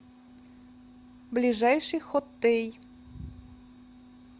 ближайший хоттей